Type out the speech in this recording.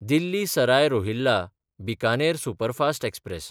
Delhi Sarai Rohilla Bikaner superfast express